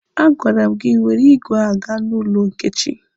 A gwara m gị were igwe gaa n'ụlọ Nkechi!